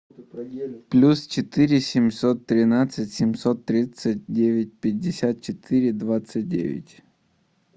плюс четыре семьсот тринадцать семьсот тридцать девять пятьдесят четыре двадцать девять